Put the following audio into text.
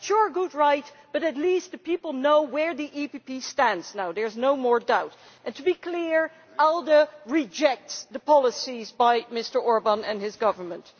That is your right but at least the people know where the EPP stands now. There is no more doubt and, to be clear, ALDE rejects the policies of Mr Orbán and his government.